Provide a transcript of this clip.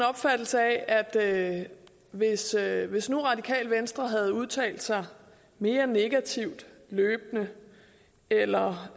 opfattelse af at hvis at hvis nu radikale venstre løbende havde udtalt sig mere negativt eller